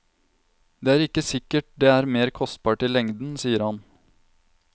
Det er ikke sikkert det er mer kostbart i lengden, sier han.